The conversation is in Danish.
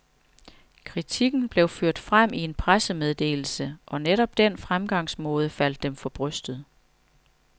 Kritikken blev ført frem i en pressemeddelse, og netop den fremgangsmåde faldt dem for brystet.